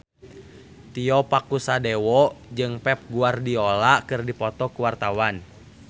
Tio Pakusadewo jeung Pep Guardiola keur dipoto ku wartawan